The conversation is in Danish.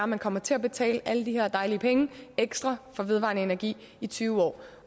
man kommer til at betale alle de her dejlige penge ekstra for vedvarende energi i tyve år